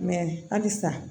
halisa